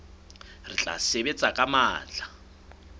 re tla sebetsa ka matla